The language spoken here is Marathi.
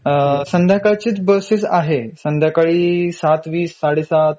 अ संध्याकाळचेच बसेस आहेत. संध्याकाळी ७.२०, ७.३०